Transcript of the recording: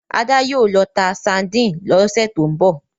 Ada yíò ló tá sardine ló sẹ to'n bọ